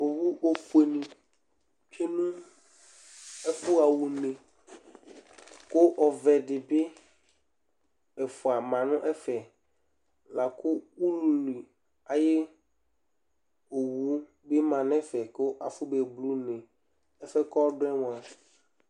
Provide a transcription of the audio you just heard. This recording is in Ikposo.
owu ofue tsue nu ɛfuha une kʊ ɔvɛ dɩbɩ ɛfua ma nʊ ɛfɛ lakʊ ululi ayu owu bɩ ma nʊ ɛfɛ kʊ afɔ me mli